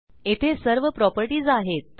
येथे सर्व प्रॉपर्टीज आहेत